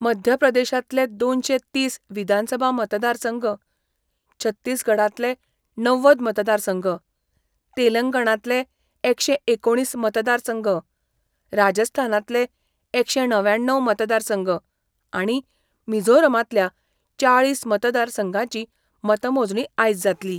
मध्यप्रदेशातले दोनशे तीस विधानसभा मतदारसंघ, छत्तिसगडातले णव्वद मतदारसंघ, तेलंगणातले एकशे एकोणीस मतदारसंघ, राजस्थानांतले एकशे णव्याण्णव मतदारसंघ आणि मिझोरामतल्या चाळीस मतदारसंघांची मतमोजणी आयज जातली.